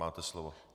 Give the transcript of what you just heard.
Máte slovo.